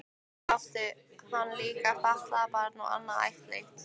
Svo átti hann líka fatlað barn og annað ættleitt.